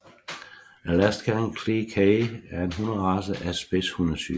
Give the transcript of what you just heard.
Alaskan Klee Kai er en hunderace af spidshundetypen